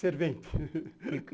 Servente.